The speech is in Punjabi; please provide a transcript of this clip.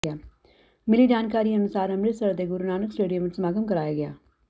ਮਿਲੀ ਜਾਣਕਾਰੀ ਅਨੁਸਾਰ ਅੰਮ੍ਰਿਤਸਰ ਦੇ ਗੁਰੂ ਨਾਨਕ ਸਟੇਡੀਐਮ ਵਿਚ ਸਮਾਗਮ ਕਰਵਾਇਆ ਗਿਆ